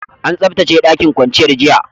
An tsabtace ɗakin kwanciyar, jiya.